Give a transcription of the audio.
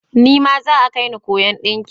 Nima za'a kaini koyon ɗinki.